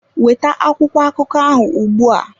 Weta akwụkwọ akụkọ ahụ ugbu a!